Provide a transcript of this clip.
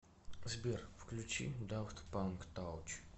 сбер включи дафт панк тач